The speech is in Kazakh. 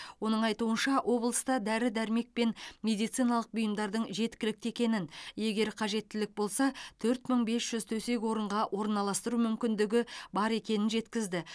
оның айтуынша облыста дәрі дәрмек пен медициналық бұйымдардың жеткілікті екенін егер қажеттілік болса төрт мың бес жүз төсек орынға орналастыру мүмкіндігі бар екенін жеткізді